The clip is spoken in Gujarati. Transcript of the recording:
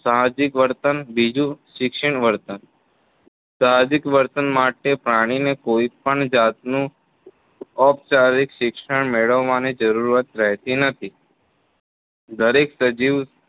સાહજિક વર્તન બોજુ શિક્ષિત વર્તન સાહજિક વર્તન માટે પ્રાણીને કોઇ પણ જાતનું ઔપચારિક શિક્ષણ મેળવવાની જરૂરત રહેતી નથી દરેક સજીવ